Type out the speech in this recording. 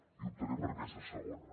i optaré per aquesta segona